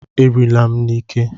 A riila m n'ike!